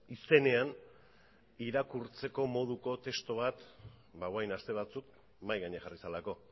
izenean irakurtzeko moduko testu bat ba orain dela aste batzuk mahai gainean jarri zelako